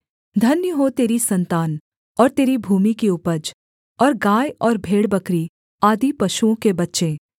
धन्य हो तेरी सन्तान और तेरी भूमि की उपज और गाय और भेड़बकरी आदि पशुओं के बच्चे